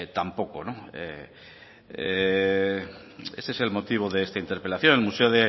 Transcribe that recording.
tampoco no ese es el motivo de esta interpelación el museo